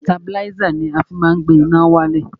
Stabilísà ni a fi má ń gbé iná wálẹ̀.